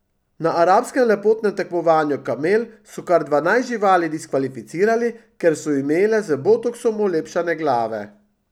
Na arabskem lepotnem tekmovanju kamel so kar dvanajst živali diskvalificirali, ker so imele z botoksom olepšane glave.